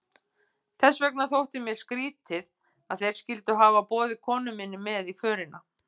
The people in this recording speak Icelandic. Þess vegna þótti mér skrýtið, að þeir skyldu hafa boðið konu minni með í förina.